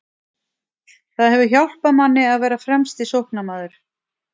Það hefur hjálpað manni að vera fremsti sóknarmaður.